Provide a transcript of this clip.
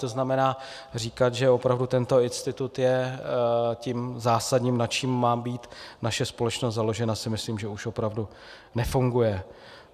To znamená říkat, že opravdu tento institut je tím zásadním, na čem má být naše společnost založena, si myslím, že už opravdu nefunguje.